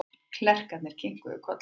Klerkarnir kinkuðu kolli.